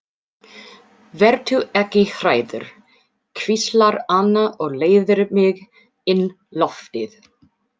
Vertu ekki hræddur, hvíslar Anna og leiðir mig inn loftið.